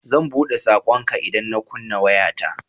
Zan buɗe saƙonka idan na kunna wayata.